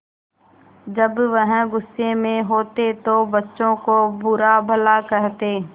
जब वह गुस्से में होते तो बच्चों को बुरा भला कहते